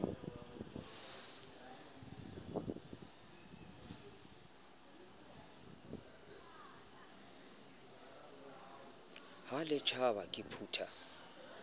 ha le tjhaba ke phutha